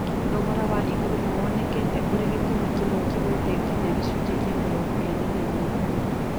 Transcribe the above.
Thogora wa igũrũ nĩwonekire ũrĩ gĩtũmi kĩmwe kĩgwĩte nginya gĩcunjĩ kĩa mĩrongo ĩĩrĩ na inya